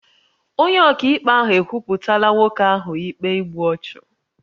Onye ọkaikpe ahụ ekwupụtala nwoke ahụ ikpe igbu ọchụ